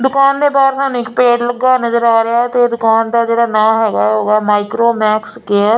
ਦੁਕਾਨ ਦੇ ਬਾਹਰ ਤੁਹਾਨੂੰ ਇੱਕ ਪੇੜ ਲੱਗਾ ਨਜ਼ਰ ਆ ਰਿਹਾ ਤੇ ਦੁਕਾਨ ਦਾ ਜਿਹੜਾ ਨਾ ਹੈਗਾ ਉਹ ਹੈਗਾ ਮਾਈਕਰੋ ਮੈਕਸ ਕੇਅਰ ।